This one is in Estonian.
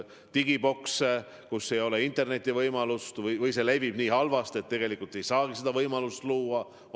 On kohti, kus ei ole interneti võimalust või levi on nii halb, et tegelikult ei saagi seda võimalust luua.